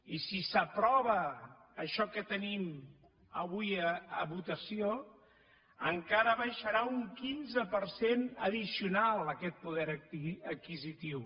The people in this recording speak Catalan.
i si s’aprova això que tenim avui a votació encara baixarà un quinze per cent addicional aquest poder adquisitiu